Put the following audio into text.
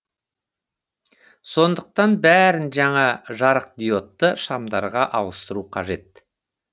сондықтан бәрін жаңа жарықдиодты шамдарға ауыстыру қажет